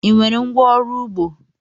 Ị nwere ngwá ọrụ ugbo?